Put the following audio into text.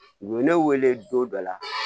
U ye ne wele don dɔ la